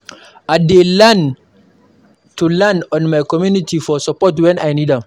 I dey learn to lean on my community for support when I need am.